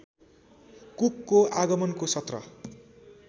कुकको आगमनको सत्र